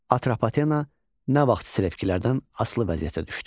Atropatena nə vaxt Selevkilərdən asılı vəziyyətə düşdü?